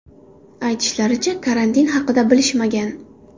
Aytishlaricha, karantin haqida bilishmagan.